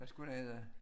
Hvad skulle det hede?